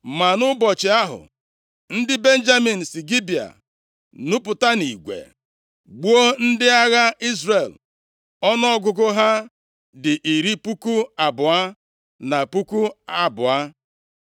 Ma nʼụbọchị ahụ, ndị Benjamin si Gibea nupụta nʼigwe gbuo ndị agha Izrel ọnụọgụgụ ha dị iri puku abụọ na puku abụọ.